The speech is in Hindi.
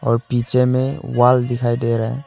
और पीछे में वॉल दिखाई दे रहा है।